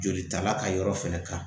Jolita la ka yɔrɔ fɛnɛ kan